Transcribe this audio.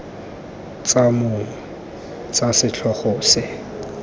tsa mong tsa setlhogo se